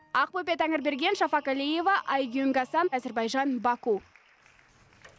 ақбөпе тәңірберген шафаг алиева айгюн гасан әзірбайжан баку